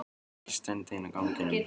Og ég stend ein á ganginum.